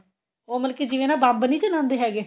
ਉਹ ਮਤਲਬ ਕਿ ਜਿਵੇਂ ਨਾ ਬੰਬ ਨਹੀਂ ਚਲਾਂਦੇ ਹੈਗੇ